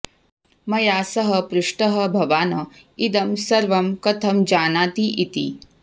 मया सः पृष्टः भवान् इदं सर्वं कथं जानाति इति